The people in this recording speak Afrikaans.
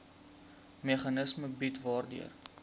meganisme bied waardeur